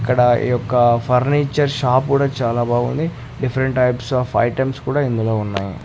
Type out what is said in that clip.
ఇక్కడ ఈ యొక్క ఫర్నిచర్ షాప్ కూడా చాలా బాగుంది డిఫరెంట్ టైప్స్ ఆఫ్ ఐటమ్స్ కూడా ఇందులో ఉన్నాయి.